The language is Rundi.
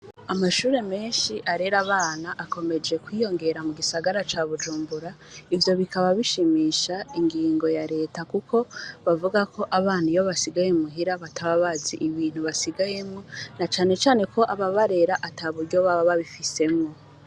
Abandi nnshoboreka barigabiga baraba imbere aha bafise ingenda n'wa muntu bakhebawanikanamwomakayyobandikisha amakaramu y'ubururu, kandi nta no abandi bariko kibaha imbere cirabura barikbandikisha ingoa zera n'izitukura n'izisanagwatirubisi kambera ndizisa n'umuhonda.